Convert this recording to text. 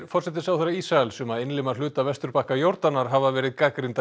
forsætisráðherra Ísraels um að innlima hluta vesturbakka Jórdanar hafa verið gagnrýndar